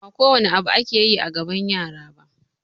Ba kowane abu ake yi a gaban yara ba